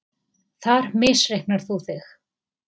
Þar misreiknar þú þig.